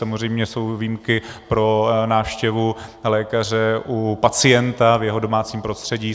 Samozřejmě jsou výjimky pro návštěvu lékaře u pacienta v jeho domácím prostředí.